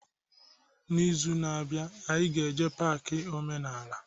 N'izuka na abianu, anyị ga-eje pak omenala